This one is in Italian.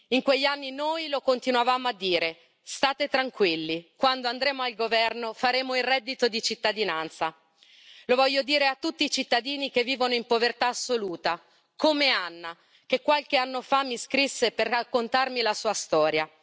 In quegli anni, noi lo continuavamo a dire state tranquilli, quando andremo al governo faremo il reddito di cittadinanza, lo voglio dire a tutti i cittadini che vivono in povertà assoluta, come Anna che qualche anno fa mi scrisse per raccontarmi la sua storia.